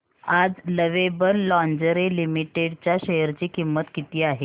आज Lovable Lingerie Limited च्या share ची किंमत किती आहे